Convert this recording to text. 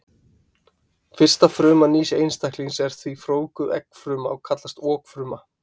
Fyrsta fruma nýs einstaklings er því frjóvguð eggfruma og kallast okfruma.